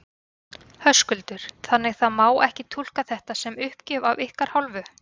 Höskuldur: Þannig það má ekki túlka þetta sem uppgjöf af ykkar hálfu?